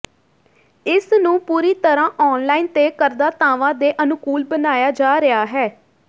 ਇਸ ਨੂੰ ਪੂਰੀ ਤਰ੍ਹਾਂ ਆਨ ਲਾਈਨ ਤੇ ਕਰਦਾਤਾਵਾਂ ਦੇ ਅਨੁਕੂਲ ਬਣਾਇਆ ਜਾ ਰਿਹਾ ਹੈ